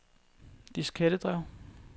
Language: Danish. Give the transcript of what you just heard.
diskettedrev